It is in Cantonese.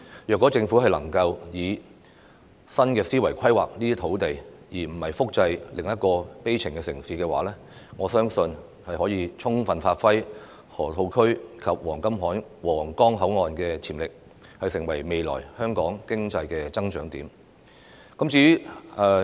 如果政府能夠以新思維規劃這些土地，而不是複製另一個悲情城市，我相信可以充分發揮河套區及皇崗口岸的潛力，成為未來香港經濟增長點。